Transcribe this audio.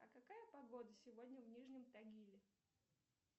а какая погода сегодня в нижнем тагиле